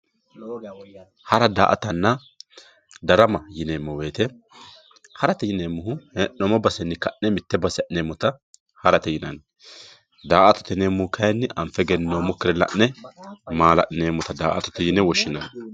hara daa"atanna darama yineemmo woyiite harate yineemmohu hee'noommo basenni mitte base ha'neemmota harate yinanni daa"atate yineemmohu kayiinni anfe egenninoommokkire la'ne maala'lineemmota daa"atote yine woshshinanni.